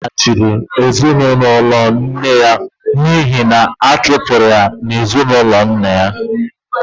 Ọ laghachiri na ezinụlọ nne ya n'ihi na a chụpụrụ ya n'ezinụlọ nna ya